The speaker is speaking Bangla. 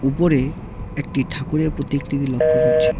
উপরে একটি ঠাকুরের প্রতিকৃতি লক্ষ্য করছি।